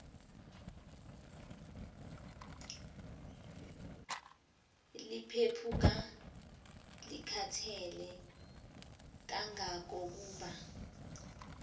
liphephuka likhathele kangangokuba